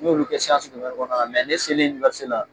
N y'olu kɛ siyansi domɛni kɔnɔnala mɛ ne selen uniwɛrisite la